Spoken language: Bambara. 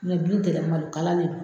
Me bin tigɛ malo kala de do.